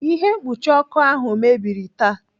Ihe mkpuchi ọkụ ahụ mebiri taa.